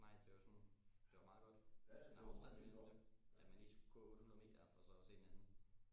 Nej det var sådan det var meget godt sådan afstanden imellem dem at man lige skulle gå 800 meter for så at se en anden